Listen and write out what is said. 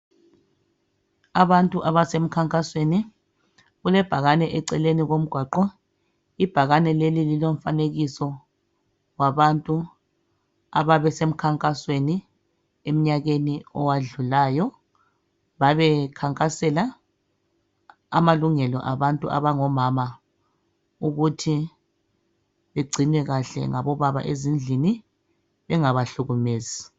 Abantu abasemkhankasweni. Kulebhakane eceleni komgwaqo. Ibhakane leli lilomfanekiso wabantu ababesemkhankasweni emnyakeni owadlulayo, babekhankasela amalungelo abantu abangomama ukuthi bagcinwe kuhle ngabobaba ezindlini bengabahlukumezi.